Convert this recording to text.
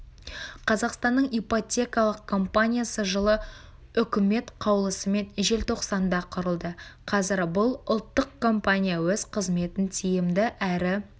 қазақстанның ипотекалық компаниясы жылы үкімет қаулысымен желтоқсанда құрылды қазір бұл ұлттық компания өз қызметін тиімді әрі